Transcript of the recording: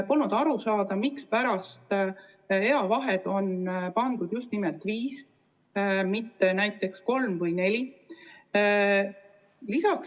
Polnud aru saada, mispärast on eavaheks määratud just nimelt viis, mitte näiteks kolm või neli aastat.